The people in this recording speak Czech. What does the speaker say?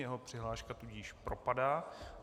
Jeho přihláška tudíž propadá.